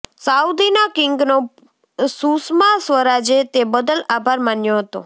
સાઉદીના કિંગનો સુષમા સ્વરાજે તે બદલ આભાર માન્યો હતો